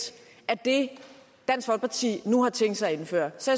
af det dansk folkeparti nu har tænkt sig at indføre så